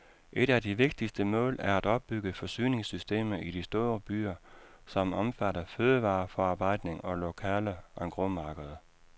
Et af de vigtigste mål er at opbygge forsyningssystemer i de store byer, som omfatter fødevareforarbejdning og lokale engrosmarkeder.